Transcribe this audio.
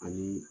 Ani